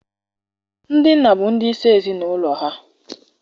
Ndị nna bụ ndị isi ezi n'ụlọ ha.